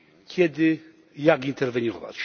Kiedy i jak interweniować?